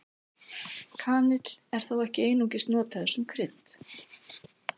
Kanill var þó ekki einungis notaður sem krydd.